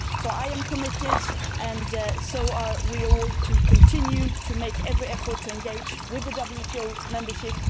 I am committed and so are we all to continuing to make every effort to engage with the WTO membership.